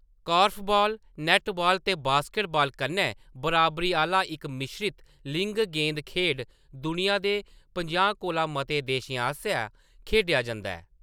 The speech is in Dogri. कोर्फ़बाल, नैट्टबाल ते बास्केटबाल कन्नै बराबरी आह्‌‌‌ला इक मिश्रत लिंग गेंद खेढ, दुनिया दे पंजाह् कोला मते देशें आसेआ खेढा जंदा ऐ।